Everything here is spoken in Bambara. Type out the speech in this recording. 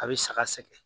A bɛ saga sɛgɛn